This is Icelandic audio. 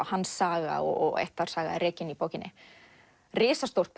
hans saga og ættarsaga er rekin í bókinni risastórt